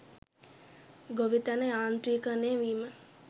ගොවිතැන යාන්ත්‍රීකරණය වීම